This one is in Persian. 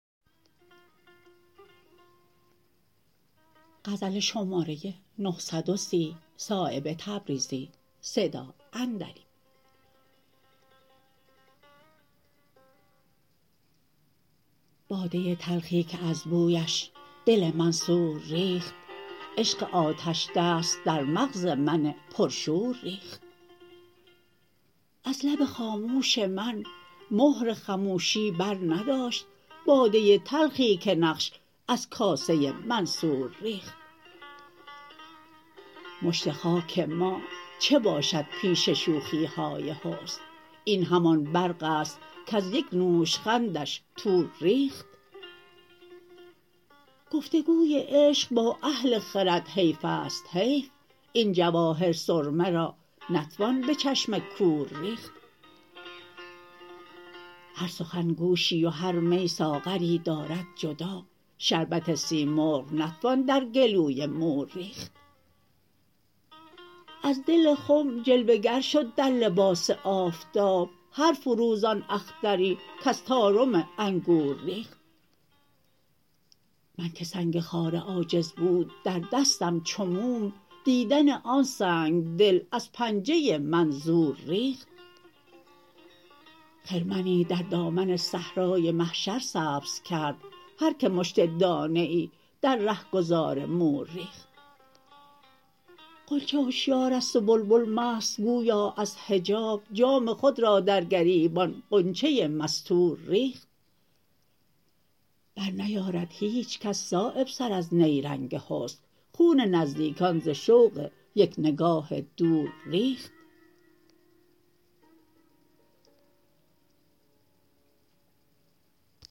باده تلخی که از بویش دل منصور ریخت عشق آتشدست در مغز من پرشور ریخت از لب خاموش من مهر خموشی برنداشت باده تلخی که نقش از کاسه منصور ریخت مشت خاک ما چه باشد پیش شوخی های حسن این همان برق است کز یک نوشخندش طور ریخت گفتگوی عشق با اهل خرد حیف است حیف این جواهر سرمه را نتوان به چشم کور ریخت هر سخن گوشی و هر می ساغری دارد جدا شربت سیمرغ نتوان در گلوی مور ریخت از دل خم جلوه گر شد در لباس آفتاب هر فروزان اختری کز طارم انگور ریخت من که سنگ خاره عاجز بود در دستم چو موم دیدن آن سنگدل از پنجه من زور ریخت خرمنی در دامن صحرای محشر سبز کرد هر که مشت دانه ای در رهگذار مور ریخت غنچه هشیارست و بلبل مست گویا از حجاب جام خود را در گریبان غنچه مستور ریخت برنیارد هیچ کس صایب سر از نیرنگ حسن خون نزدیکان ز شوق یک نگاه دور ریخت